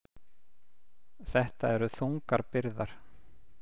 Þetta eru þungar byrðar